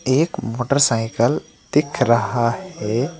एक मोटरसाइकल दिख रहा है।